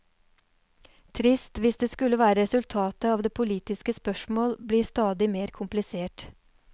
Trist hvis det skulle være resultatet av at politiske spørsmål blir stadig mer komplisert.